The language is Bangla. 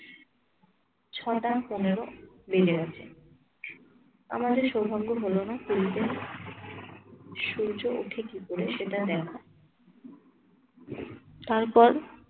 ছটা পনেরো বেজে গেছে। আমাদের সৌভাগ্য হলো না পুরীতে সূর্য ওঠে কি করে সেটা দেখা। তারপর